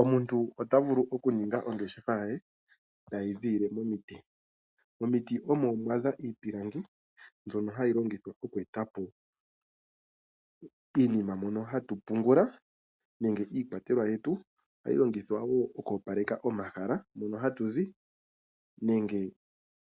Omuntu otavulu okuninga ongeshefa ye tayiziilile momiti. Omiti omo mwaza iipilangi mbyono hayi vulu okweetapo iinima mono hatu pungula nenge iikwatelwa yetu. Ohayi longithwa wo oku opaleka omahala moono hatuzi nenge